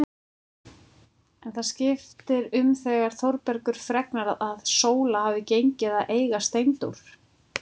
En það skiptir um þegar Þórbergur fregnar að Sóla hafi gengið að eiga Steindór.